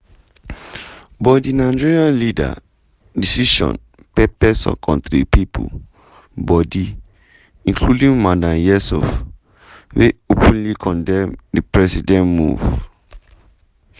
but di nigerian leader decision pepper some kontri pipo body including madam yesuf wey openly condemn di president move.